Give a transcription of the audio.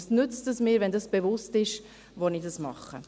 » Was nützt es mir, wenn ich mir bewusst bin, wo ich das mache?